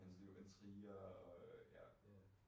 Hans liv. Intriger og øh ja